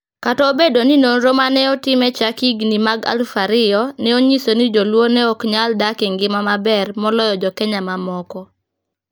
Kata obedo ni nonro ma ne otim e chak higini mag 2000 ne onyiso ni Jo-luo ne ok nyal dak e ngima maber moloyo Jo-Kenya mamoko,